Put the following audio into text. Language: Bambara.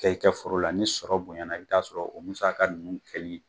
Kɛ i kɛ foro la ni sɔrɔ bonyana i bi t'a sɔrɔ o musaka ninnu kɛli